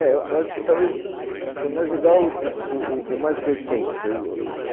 É, eu acho que talvez seja mais legal o o mais recente